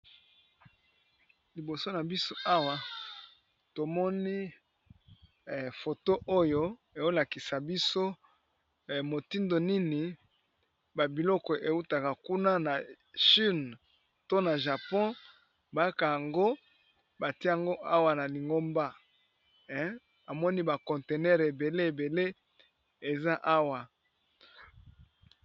Liboso na biso awa tomoni foto oyo ezolakisa biso motindo nini babiloko eutaka kuna na chine. To na japon baka yango bati yango awa na lingomba amoni ba conteneur ebele ebele eza awa.